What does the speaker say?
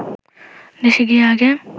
দেশে গিয়া আগে